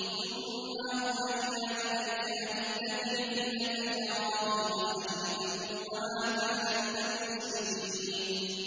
ثُمَّ أَوْحَيْنَا إِلَيْكَ أَنِ اتَّبِعْ مِلَّةَ إِبْرَاهِيمَ حَنِيفًا ۖ وَمَا كَانَ مِنَ الْمُشْرِكِينَ